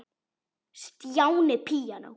Stjáni píanó